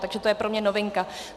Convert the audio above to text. Takže to je pro mě novinka.